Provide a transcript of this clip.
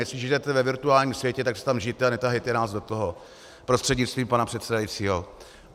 Jestli žijete ve virtuálním světě, tak si tam žijte a netahejte nás do toho, prostřednictvím pana předsedajícího.